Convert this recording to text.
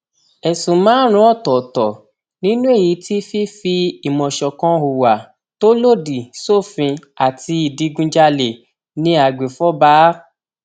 ẹsùn márùnún ọtọọtọ nínú èyí tí fífi ìmọ ṣọkan hùwà tó lòdì sófin àti ìdígunjalè ni àgbẹfọba a